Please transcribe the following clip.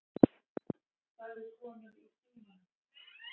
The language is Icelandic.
sagði konan í símanum.